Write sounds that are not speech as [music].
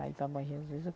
Aí [unintelligible] Bom Jesus.